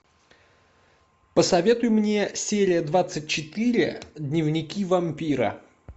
посоветуй мне серия двадцать четыре дневники вампира